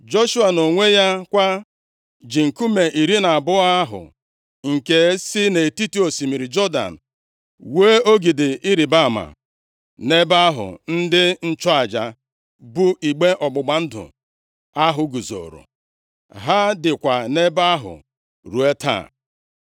Joshua nʼonwe ya kwa ji nkume iri na abụọ ahụ nke si nʼetiti osimiri Jọdan wuo ogidi ịrịbama, nʼebe ahụ ndị nchụaja bu igbe ọgbụgba ndụ ahụ guzoro. Ha dịkwa nʼebe ahụ ruo taa.